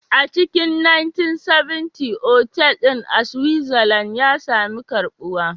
A cikin 1970s, otal ɗin a Switzerland ya sami karbuwa